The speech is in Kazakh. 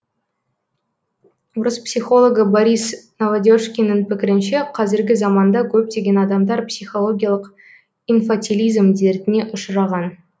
орыс психологы борис новодержкиннің пікірінше қазіргі заманда көптеген адамдар психологиялық инфатилизм дертіне ұшыраған